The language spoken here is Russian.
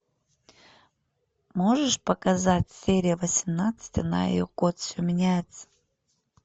можешь показать серия восемнадцатая она и ее кот все меняется